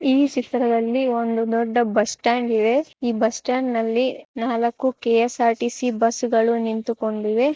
ಈ ಚಿತ್ರ ದಲ್ಲಿ ಒಂದು ದೊಡ್ಡ ಬಸ್ಟ್ಯಾಂಡ್ ಇದೆ. ಈ ಬಸ್ ಸ್ಟಾಂಡ್ ಅಲ್ಲಿ ನಾಲಕ್ಕು ಕೆ.ಎಸ್.ಆರ್.ಟಿ.ಸಿ. ಬಸ್ ಗಳು ನಿಂತುಕೊಂಡಿವೆ.